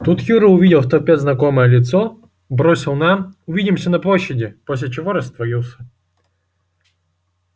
тут юра увидел в толпе знакомое лицо бросил нам увидимся на площади после чего растворился